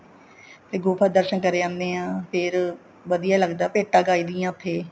ਤੇ ਗੁਫ਼ਾ ਦਰਸ਼ਨ ਕਰੇ ਆਣੇ ਹਾਂ ਫ਼ੇਰ ਵਧੀਆ ਲੱਗਦਾ ਭੇਟਾਂ ਗਾਈ ਦੀਆਂ ਉੱਥੇ